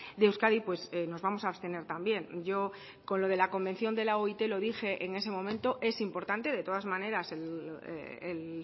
de euskadi nos vamos a abstener también yo con lo de la convención de la oit lo dije en ese momento es importante de todas maneras el